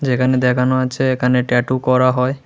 এখানে দেখানো আছে এখানে ট্যাটু করা হয়।